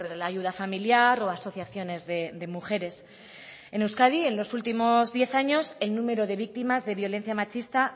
la ayuda familiar o asociaciones de mujeres en euskadi en los últimos diez años el número de víctimas de violencia machista